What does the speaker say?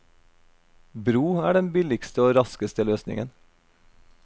Bro er den billigste og raskeste løsningen.